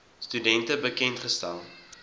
studente bekend gestel